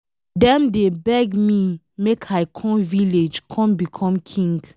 Dem dey beg me make I come village come become king.